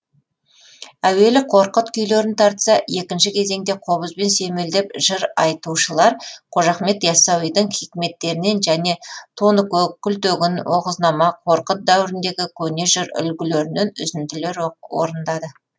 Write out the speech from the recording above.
әуелі қорқыт күйлерін тартса екінші кезеңде қобызбен сүйемелдеп жыр айтушылар қожа ахмет ясауидің хикметтерінен және тоныкөк күлтегін оғызнама қорқыт дәуіріндегі көне жыр үлгілерінен үзінділер орындады